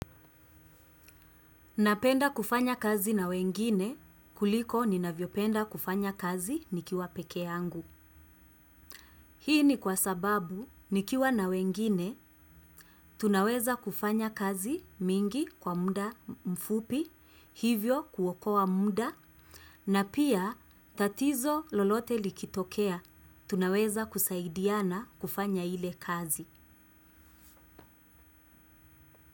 Napenda kufanya kazi na wengine, kuliko ni navyopenda kufanya kazi nikiwa peke yangu. Hii ni kwa sababu, nikiwa na wengine, tunaweza kufanya kazi mingi kwa mda mfupi, hivyo kuokoa mda, na pia tatizo lolote likitokea, tunaweza kusaidiana kufanya ile kazi.